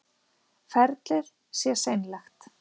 Ferlið sé seinlegt